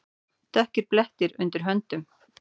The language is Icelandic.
Dökkir blettir undir höndunum.